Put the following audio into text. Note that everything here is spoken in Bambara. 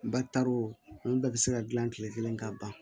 Ba taar'o olu bɛɛ bɛ se ka dilan kile kelen ka ban